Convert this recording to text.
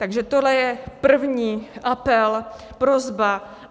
Takže tohle je první apel, prosba.